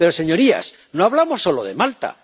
Pero, señorías, no hablamos solo de Malta.